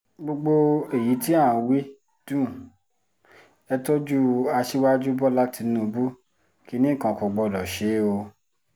gbogbo èyí tí à ń wí dùn ẹ́ tọ́jú aṣíwájú bọ́lá tìǹbù kínní kan kò gbọ́dọ̀ ṣe é o